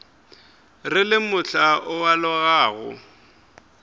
re le mohla o alogago